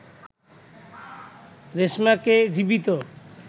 রেশমাকে জীবিত